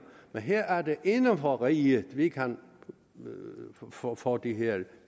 men her er det inden for riget vi kan få få de her